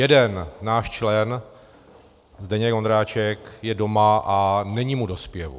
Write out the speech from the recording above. Jeden, náš člen, Zdeněk Ondráček, je doma a není mu do zpěvu.